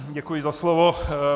Děkuji za slovo.